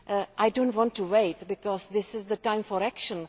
I do not want to wait, because this is the time for action.